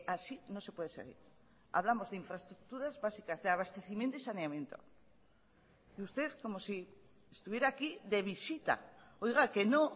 así no se puede seguir hablamos de infraestructuras básicas de abastecimiento y saneamiento y usted como si estuviera aquí de visita oiga que no